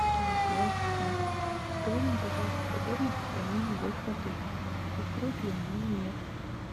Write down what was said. голосовой ассистент расскажи мне пожалуйста подробности про мини гольф в отеле существует он или нет